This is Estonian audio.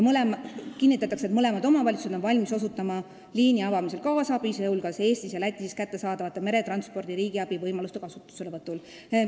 Kirjas kinnitatakse, et mõlemad omavalitsused on valmis osutama liini avamisel kaasabi, sh Eestis ja Lätis kättesaadavate meretranspordi riigiabi võimaluste kasutuselevõtul.